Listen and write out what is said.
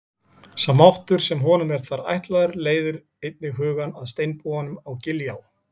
Sá máttur sem honum er þar ætlaður leiðir einnig hugann að steinbúanum á Giljá.